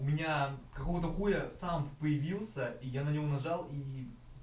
у меня какого то хуя сам появился и я на него нажал и